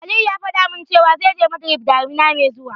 Aliyu faɗa min cewa, zai je Madrid daminar mai zuwa.